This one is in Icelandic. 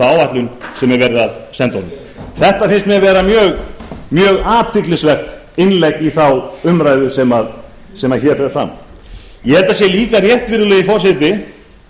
sem verið er að senda honum þetta finnst mér vera mjög athyglisvert innlegg í þá umræðu sem hér fer fram ég held að það sé líka rétt virðulegi forseti